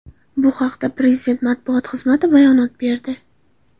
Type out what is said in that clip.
Bu haqda Prezident matbuot xizmati bayonot berdi .